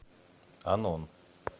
анон